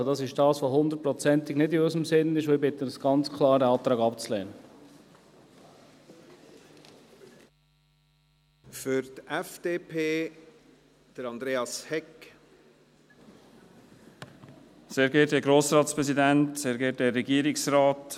Also: Das ist etwas, das hundertprozentig nicht in unserem Sinn ist, und ich bitte Sie ganz klar, diesen Antrag abzulehnen.